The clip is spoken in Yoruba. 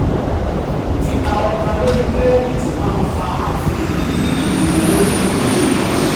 tita ohunkan lori kirẹditi maa nfa afihan ni iwe owo.